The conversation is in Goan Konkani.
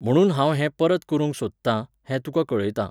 म्हणून हांव हें परत करूंक सोदतां, हें तुका कळयतां.